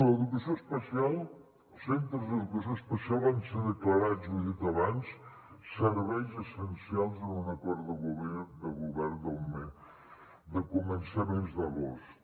l’educació especial els centres d’educació especial van ser declarats ho he dit abans serveis essencials en un acord de govern de començaments d’agost